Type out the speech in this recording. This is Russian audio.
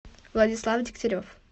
владислав дегтярев